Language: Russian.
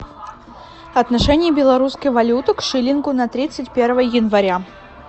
отношение белорусской валюты к шиллингу на тридцать первое января